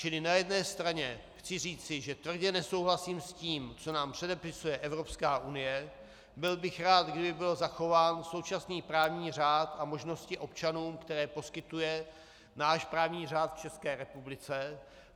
Čili na jedné straně chci říci, že tvrdě nesouhlasím s tím, co nám předepisuje Evropská unie, byl bych rád, kdyby byl zachován současný právní řád a možnosti občanům, které poskytuje náš právní řád v České republice.